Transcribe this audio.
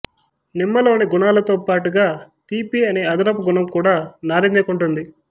నిమ్మలోని గుణాలతో పాటుగా తీపి అనే అదనపు గుణం కూడా నారింజ కుంటుంది